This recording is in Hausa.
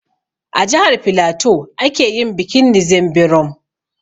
A jihar filatu ake yin bikin ''Nzem berom''